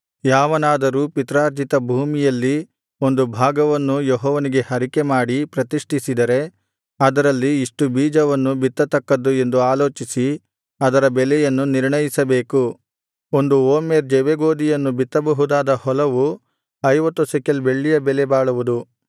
ಯಾವನಾದರೂ ಪಿತ್ರಾರ್ಜಿತ ಭೂಮಿಯಲ್ಲಿ ಒಂದು ಭಾಗವನ್ನು ಯೆಹೋವನಿಗೆ ಹರಕೆಮಾಡಿ ಪ್ರತಿಷ್ಠಿಸಿದರೆ ಅದರಲ್ಲಿ ಇಷ್ಟು ಬೀಜವನ್ನು ಬಿತ್ತತಕ್ಕದ್ದು ಎಂದು ಆಲೋಚಿಸಿ ಅದರ ಬೆಲೆಯನ್ನು ನಿರ್ಣಯಿಸಬೇಕು ಒಂದು ಓಮೆರ್ ಜವೆಗೋದಿಯನ್ನು ಬಿತ್ತಬಹುದಾದ ಹೊಲವು ಐವತ್ತು ಶೆಕೆಲ್ ಬೆಳ್ಳಿಯ ಬೆಲೆ ಬಾಳುವುದು